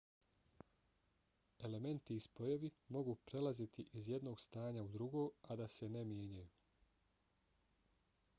elementi i spojevi mogu prelaziti iz jednog stanja u drugo a da se ne mijenjaju